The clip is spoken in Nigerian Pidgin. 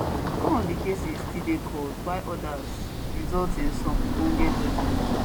some of di cases still dey court while odas result in some ogbonge judgement